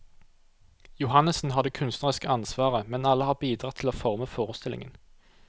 Johannessen har det kunstneriske ansvaret, men alle har bidratt til å forme forestillingen.